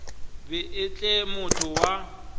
be e le motho wa